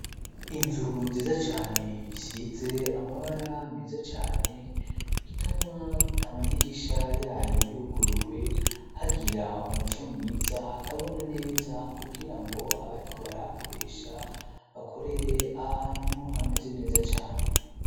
Inzu nziza cane isize amabara meza cane ituma amadijisha yayo yuguruwe hagira umuco mwiza hakabona neza kugira ngo abariko barakoresha bakorere ahantu hameze neza cane.